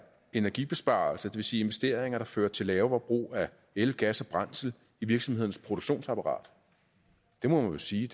energibesparelser det vil sige investeringer der fører til lavere forbrug af el gas og brændsel i virksomhedernes produktionsapparat det må man sige